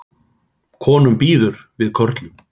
Konum býður við körlum